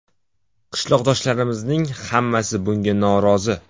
Qishloqdoshlarimizning hammasi bunga norozi.